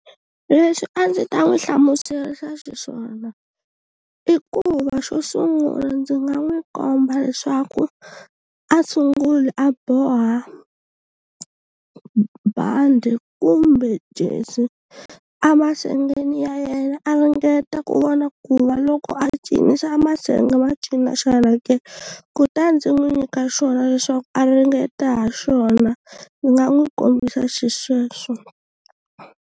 Leswi a ndzi ta n'wi hlamuselisa xa xiswona i ku va xo sungula ndzi nga n'wi komba leswaku a sunguli a boha bandi kumbe jersey a masengeni ya yena a ringeta ku vona ku va loko a cinisa a masenge ma cina xana ke kutani ndzi n'wi nyika xona leswaku a ringeta ha xona ndzi nga n'wi kombisa xisweswo.